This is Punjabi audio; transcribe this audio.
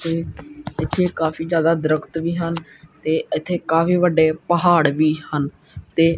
ਪੀਛੇ ਕਾਫੀ ਜਿਆਦਾ ਦਰਖਤ ਵੀ ਹਨ ਤੇ ਇਥੇ ਕਾਫੀ ਵੱਡੇ ਪਹਾੜ ਵੀ ਹਨ ਤੇ--